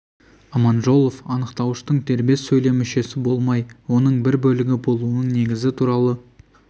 аманжолов анықтауыштың дербес сөйлем мүшесі болмай оның бір бөлігі болуының негізі туралы